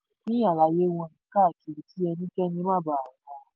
um pín àlàyé wọn káàkiri kí ẹnikẹ́ni má baà